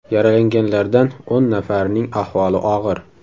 Yaralanganlardan o‘n nafarining ahvoli og‘ir.